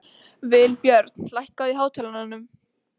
Vilbjörn, lækkaðu í hátalaranum.